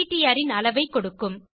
PTR ன் அளவைக் கொடுக்கும்